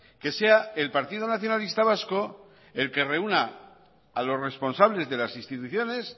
que sea el partido nacionalista vasco el que reúna a los responsables de las instituciones